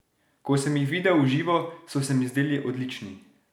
Ko sem jih videl v živo, so se mi zdeli odlični!